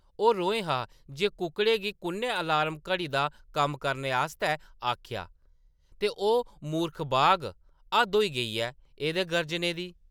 ओह् रोहें हा जे कुक्कड़ें गी कु’न्नै अलार्म घड़ी दा कम्म करने आस्तै आखेआ ? ते ओह्‌‌ मूर्ख बाघ ! हद्द होई गेई ऐ एह्‌दे गर्जने दी!